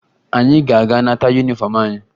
Anyị ga-aga nata yunifọmụ anyị